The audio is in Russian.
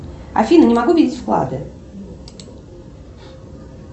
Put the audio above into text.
афина не могу видеть вклады